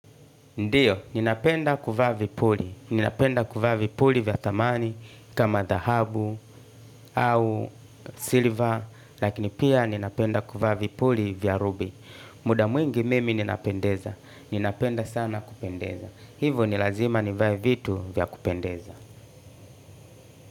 Ndiyo, ninapenda kuvaa vipuli, ninapenda kuvaa vipuli vya thamani, kama dhahabu au silver, lakini pia ninapenda kuvaa vipuli vya rubi. Muda mwingi mimi ninapendeza, ninapenda sana kupendeza. Hivo n llazima nivae vitu vya kupendeza.